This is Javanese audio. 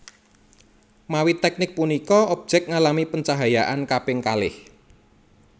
Mawi teknik punika objek ngalami pencahayaan kaping kalih